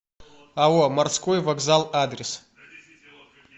ао морской вокзал адрес